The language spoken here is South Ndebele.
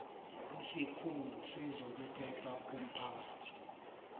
esikhulu sezokuphepha komphakathi